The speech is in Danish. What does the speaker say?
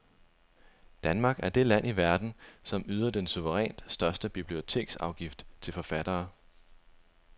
Danmark er det land i verden, som yder den suverænt største biblioteksafgift til forfattere.